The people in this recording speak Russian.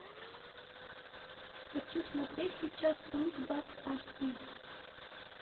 хочу смотреть сейчас онг бак аш ди